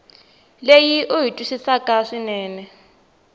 leyi u yi twisisaka swinene